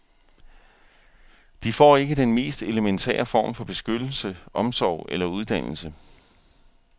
De får ikke den mest elementære form for beskyttelse, omsorg eller uddannelse.